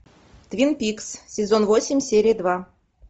твин пикс сезон восемь серия два